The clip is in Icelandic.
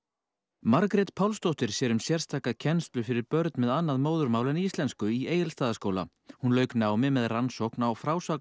Margrét Pálsdóttir sér um sérstaka kennslu fyrir börn með annað móðurmál en íslensku í Egilsstaðaskóla hún lauk námi með rannsókn á